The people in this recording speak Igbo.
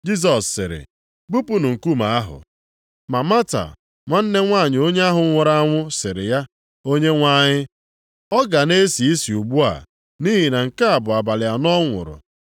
Jisọs sịrị, “Bupunụ nkume ahụ!” Ma Mata, nwanne nwanyị onye ahụ nwụrụ anwụ, sịrị ya, “Onyenwe anyị, ọ ga na-esi isi ugbu a, nʼihi na nke a bụ abalị anọ ọ nwụrụ.”